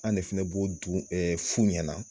An de fana bɛ fu ɲɛn na.